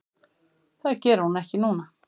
Það geri hún ekki núna.